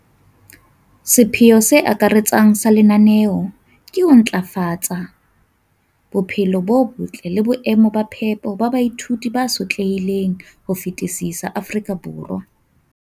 sepheo se akaretsang sa lenaneo ke ho ntlafatsa bophelo bo botle le boemo ba phepo ba baithuti ba sotlehileng ho fetisisa Afrika Borwa.